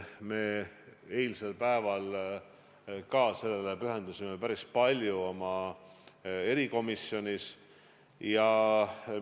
Me eilsel päeval pühendusime sellele teemale oma erikomisjonis päris palju.